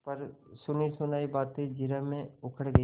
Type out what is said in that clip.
पर सुनीसुनायी बातें जिरह में उखड़ गयीं